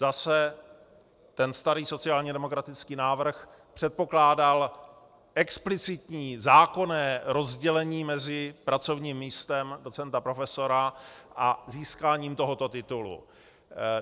Zase ten starý sociálně demokratický návrh předpokládal explicitní zákonné rozdělení mezi pracovním místem docenta, profesora a získáním tohoto titulu.